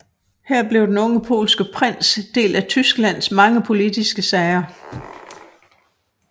Her blev den unge polske prins del af Tysklands mange politiske sager